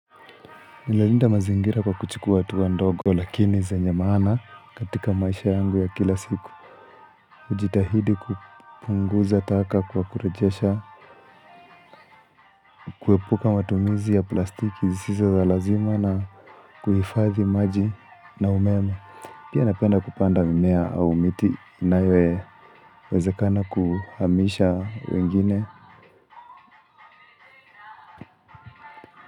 Ninalinda mazingira kwa kuchukua hatua ndogo lakini zenye maana katika maisha yangu ya kila siku hujitahidi kupunguza taka kwa kurejesha, kuepuka matumizi ya plastiki zisizo za lazima na kuhifadhi maji na umeme Pia napenda kupanda mimea au miti inayowezekana kuhamisha wengine.